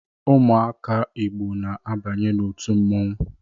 Ụmụaka Igbo na-abanye n’otu mmonwu